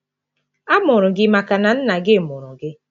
A mụrụ gị maka na nna gị mụrụ gị.